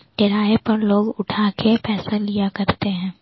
किराए पर लोग उठा के पैसा लिया करते हैं।